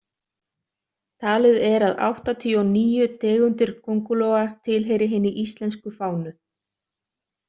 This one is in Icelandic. Talið er að áttatíu og níu tegundir köngulóa tilheyri hinni íslensku fánu.